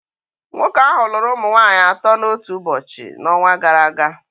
Nwoke ahụ lụrụ ụmụ nwanyị atọ n'otu ụbọchị n'ọnwa gara aga